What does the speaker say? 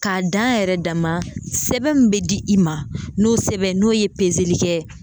K'a dan a yɛrɛ dama sɛbɛn min bɛ di i ma n'o sɛbɛn n'o ye kɛ.